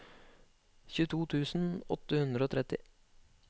tjueto tusen åtte hundre og tretti